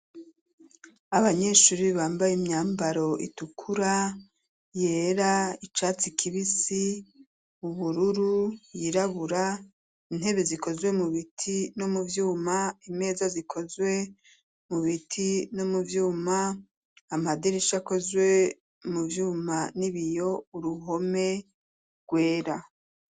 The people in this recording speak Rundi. Abanyeshure bambaye imyambaro itukura, yera, icatsi kibisi, ubururu, y'irabura, intebe zikozwe mu biti no mu vyuma, imeza zikozwe mu biti no mu vyuma, amadirisha akozwe mu vyuma n'ibiyo, uruhome rwera.